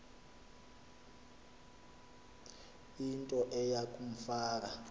into eya kumfaka